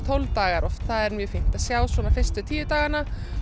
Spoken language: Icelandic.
tólf daga þá er fínt að sjá fyrstu tíu dagana